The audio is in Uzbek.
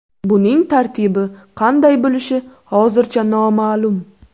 Buning tartibi qanday bo‘lishi hozircha noma’lum.